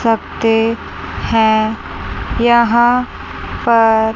सकते हैं यहां पर--